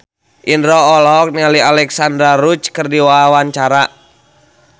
Indro olohok ningali Alexandra Roach keur diwawancara